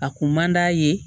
A kun man d'a ye